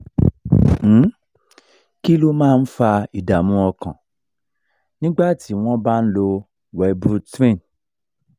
um kí ló máa ń fa ìdààmú ọkàn nígbà tí wọ́n bá ń lo wellbutrin?